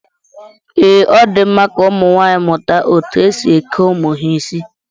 Ee, Ọ di mma ka ụmụnwaanyị mụta etu e si eke ụmụ ya isi